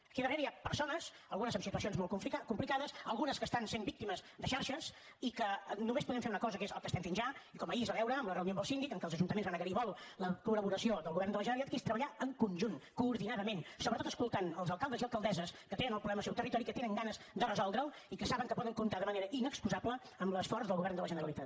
aquí darrere hi ha persones algunes amb situacions molt complicades algunes que estan sent víctimes de xarxes i que només podem fer una cosa que és el que estem fent ja i com ahir es va veure en la reunió amb el síndic en què els ajuntaments van agrair molt la col·laboració del govern de la generalitat que és treballar en conjunt coordinadament sobretot escoltant els alcaldes i alcaldesses que tenen el problema al seu territori que tenen ganes de resoldre’l i que saben que poden comptar de manera inexcusable amb l’esforç del govern de la generalitat